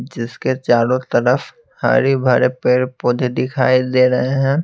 जिसके चारों तरफ हरे-भरे पेड़-पौधे दिखाई दे रहे हैं।